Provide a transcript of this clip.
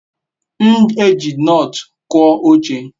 m eji nut kua oche